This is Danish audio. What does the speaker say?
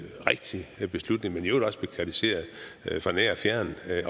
rigtig beslutning men i øvrigt også blev kritiseret fra nær og fjern